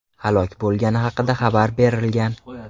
halok bo‘lgani haqida xabarlar berilgan.